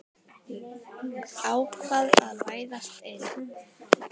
Ákvað að læðast inn.